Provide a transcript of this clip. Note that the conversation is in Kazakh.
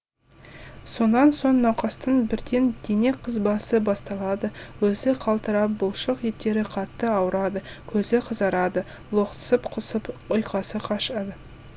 сонан соң науқастың бірден дене қызбасы басталады өзі қалтырап бұлшық еттері қатты ауырады көзі қызарады лоқсып құсып ұйқасы қашады